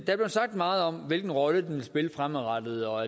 sagt meget om hvilken rolle den vil spille fremadrettet og